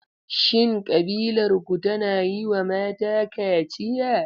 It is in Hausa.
Shin ƙabilarku tana yiwa mata kaciya?